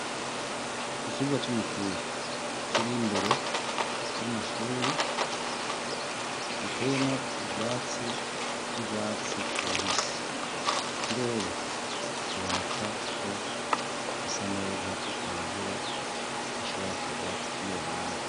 Ikibuga c'umupira kiri imbere y'amashure giteyemwo ivyatsi vy'urwatsi rubisi. Ikirere kiboneka ko gisa neza, ata mvura ishobora kurwa muri uyo mwanya.